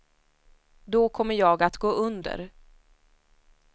Då kommer jag att gå under.